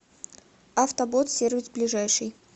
автобот сервис ближайший